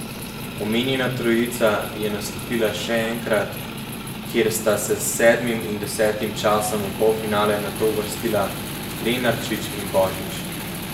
Omenjena trojica je nastopila še enkrat, kjer sta se s sedmim in desetim časom v polfinale nato uvrstila Lenarčič in Božič.